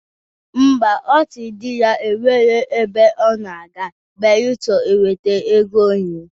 Ḿbà, ọ sịrị di ya na o nwero ebe ọ na-aga beelụsọ o wetara ego nri.